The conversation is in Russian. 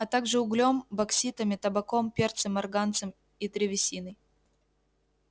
а также углём бокситами табаком перцем марганцем и древесиной